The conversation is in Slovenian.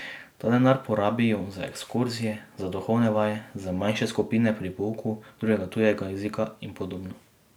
Ta denar porabijo za ekskurzije, za duhovne vaje, za manjše skupine pri pouku drugega tujega jezika in podobno.